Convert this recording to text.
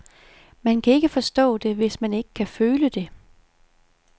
Man kan ikke forstå det, hvis man ikke kan føle det.